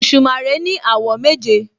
Òṣùmàrè ní àwọ̀ méje